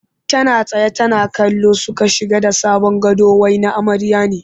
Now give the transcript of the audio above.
Tana tsaye tana kallo suka shige da sabon gado wai na amarya ne